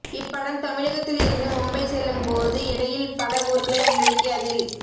இப்படம் தமிழகத்தில் இருந்து மும்பை செல்லும் போது இடையில் பல ஊர்களை உள்ளடக்கி அதில்